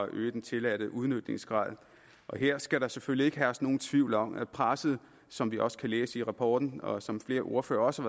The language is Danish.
øge den tilladte udnyttelsesgrad her skal der selvfølgelig ikke herske nogen tvivl om at presset som vi også kan læse i rapporten og som flere ordførere også